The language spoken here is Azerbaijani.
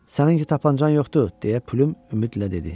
Sənin heç tapançan yoxdur, deyə Plyum ümidlə dedi.